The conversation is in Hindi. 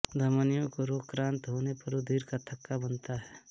धमनियों के रोगक्रांत होने पर रुधिर का थक्का बनता है